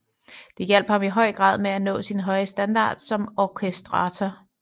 Det hjalp ham i høj grad med at nå sin høje standard som orkestrator